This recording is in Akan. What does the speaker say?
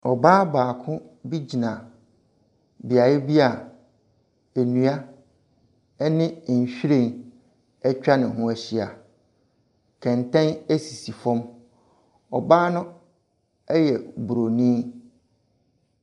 Ɔbaa baako bi gyina beaeɛ bia nnua ɛne nwhiren atwa ne ho ahyia. Kɛntɛn esisi fam. Ɔbaa no ɛyɛ bronii.